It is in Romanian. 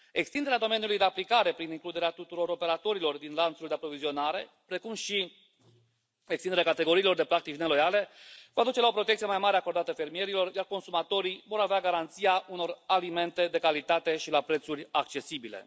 Extinderea domeniului de aplicare prin includerea tuturor operatorilor din lanțul de aprovizionare, precum și extinderea categoriilor de practici neloiale vor duce la o protecție mai mare acordată fermierilor, iar consumatorii vor avea garanția unor alimente de calitate și la prețuri accesibile.